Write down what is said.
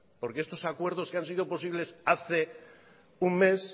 porque estos acuerdos que han sido posibles hace un mes